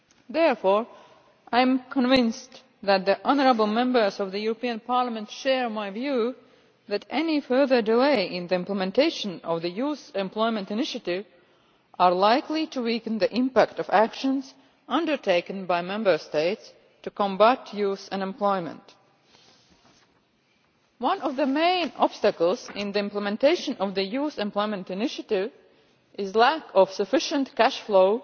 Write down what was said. Therefore, I am convinced that the honourable Members of the European Parliament share my view that any further delay in the implementation of the Youth Employment Initiative is likely to weaken the impact of actions undertaken by Member States to combat youth unemployment. One of the main obstacles in the implementation of the Youth Employment Initiative is the lack of sufficient cash flow